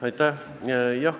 Aitäh!